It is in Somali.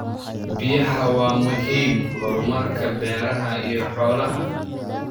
Biyaha waa muhiim horumarka beeraha iyo xoolaha.